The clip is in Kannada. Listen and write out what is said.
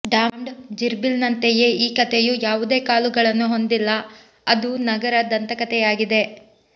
ಡಾಮ್ಡ್ ಜಿರ್ಬಿಲ್ನಂತೆಯೇ ಈ ಕಥೆಯು ಯಾವುದೇ ಕಾಲುಗಳನ್ನು ಹೊಂದಿಲ್ಲ ಅದು ನಗರ ದಂತಕಥೆಯಾಗಿದೆ